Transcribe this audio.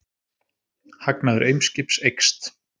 Hagnaður Eimskips eykst